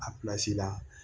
A la